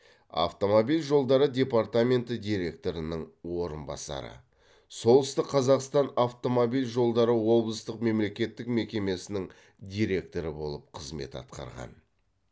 автомобиль жолдары департаменті директорының орынбасары солтүстік қазақстан автомобиль жолдары облыстық мемлекеттік мекемесінің директоры болып қызмет атқарған